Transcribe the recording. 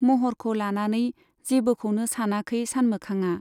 महरखौ लानानै जेबोखौनो सानाखै सानमोखांआ।